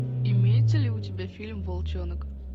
имеется ли у тебя фильм волчонок